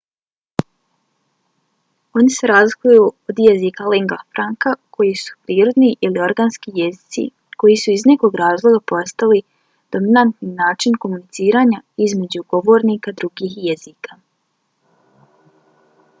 oni se razlikuju od jezika lingua franca koji su prirodni ili organski jezici koji su iz nekog razloga postali dominantni način komuniciranja između govornika drugih jezika